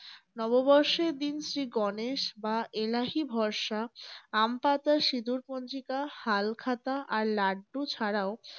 নব বর্ষের দিন শ্রী গণেশ বা এলাহী ভরসা, আম পাতা, সিঁদুর পঞ্জিকা, হাল খাতা আর লাড্ডু ছাড়াও